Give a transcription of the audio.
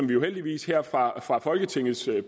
vi jo heldigvis her fra fra folketingets